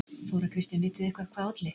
Þóra Kristín: Vitið þið eitthvað hvað olli?